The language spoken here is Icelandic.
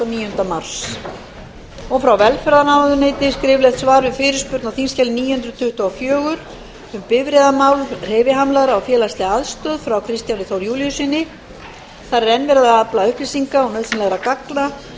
níunda mars frá velferðarráðuneyti skriflegt svar við fyrirspurn á þingskjali níu hundruð tuttugu og fjögur um bifreiðamál hreyfihamlaðra og félagslega aðstoð frá kristjáni þór júlíussyni þar eð enn ef verið að afla upplýsinga og nauðsynlegra gagna